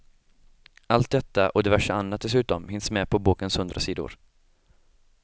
Allt detta och diverse annat dessutom hinns med på bokens hundra sidor.